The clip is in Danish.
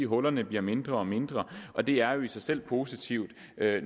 hullerne bliver mindre og mindre og det er jo i sig selv positivt